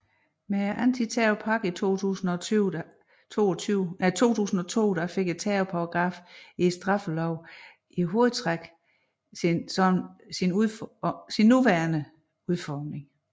Med antiterrorpakken i 2002 fik terrorparagraffen i straffeloven i hovedtræk sin nuværende udformning